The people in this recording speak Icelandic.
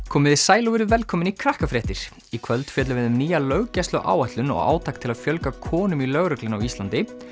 komiði sæl og verið velkomin í í kvöld fjöllum við um nýja löggæsluáætlun og átak til að fjölga konum í lögreglunni á Íslandi